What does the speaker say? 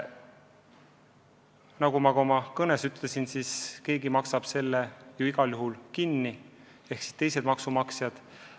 Nagu ma ka oma kõnes ütlesin, keegi maksab selle ju igal juhul kinni, ja need on maksumaksjad.